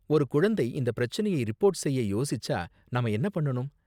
ஒரு குழந்தை இந்த பிரச்சனையை ரிப்போர்ட் செய்ய யோசிச்சா நாம என்ன பண்ணனும்?